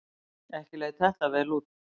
Ekki leit þetta vel út.